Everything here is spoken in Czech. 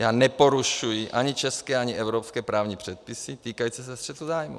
Já neporušuji ani české, ani evropské právní předpisy týkající se střetu zájmů.